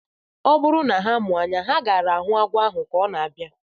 Ọ bụrụ na ha mụ anya, ha gaara ahụ agwọ ahu ka ọ na-abịa